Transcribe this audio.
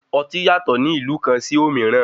Ọtí yàtọ̀ ní ìlú kan sì òmíràn.